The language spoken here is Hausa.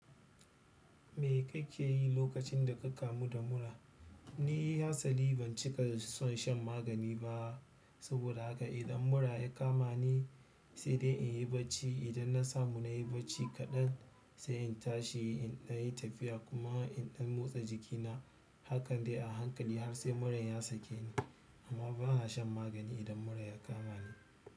Me kake yi lokacin da ka kamu da mura? Ni hatsali ban cika son shan magani ba. Saboda haka idan mura ya kama ni, sai dai in yi bacci. Idan na samu na yi bacci kaɗan, sai in tashi, in na yi tafiya kuma in ɗan motsa jikina. Hakan dai a hankali har sai muran ya sake ni. Amma bana shan magani idan mura ya kama ni.